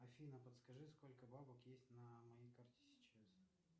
афина подскажи сколько бабок есть на моей карте сейчас